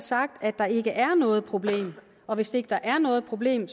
sagt at der ikke er noget problem og hvis ikke der er noget problem